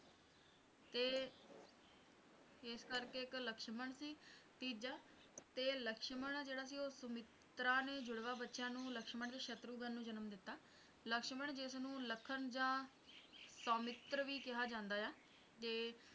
ਇਸ ਕਰਕੇ ਇੱਕ ਲਕਸ਼ਮਣ ਸੀ ਤੀਜਾ ਤੇ ਲਕਸ਼ਮਣ ਜਿਹੜਾ ਸੀ ਸੁਮਿਤਰਾ ਨੇ ਜੁੜਵਾਂ ਬੱਚੇ ਲਕਸ਼ਮਣ ਤੇ ਸ਼ਤਰੁਘਨ ਨੂੰ ਜਨਮ ਦਿੱਤਾ ਲਕਸ਼ਮਣ ਜਿਸਨੂੰ ਲਖਨ ਆ ਸੌਮਿਤ੍ਰ ਵੀ ਕਿਹਾ ਜਾਂਦਾ ਹੈ ਤੇ